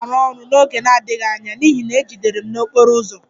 M na-arụ ọrụ n'oge na-adịghị anya n'ihi na e jidere m n'okporo ụzọ